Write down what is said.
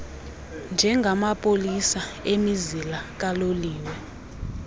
njengamapolisa emizila kaloliwe